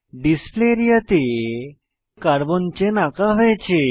display area তে carbon chain আঁকা হয়েছে